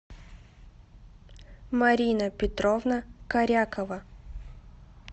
марина петровна корякова